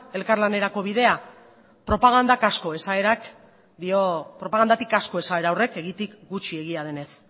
elkarlanerako bidea propagandatik asko esaera horrek egiatik gutxi egia denez